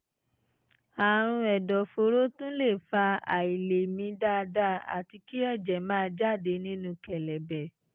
àrùn ẹ̀dọ̀fóró tún lè fa àìlèmí dáadáa àti kí ẹ̀jẹ̀ máa jáde nínú kẹ̀lẹ̀bẹ̀